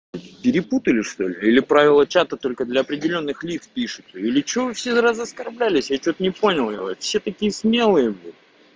перепутали что-ли или правила чата только для определённых лиц пишутся или что вы все раз оскорблялись я что-то не понял всё такие смелые блядь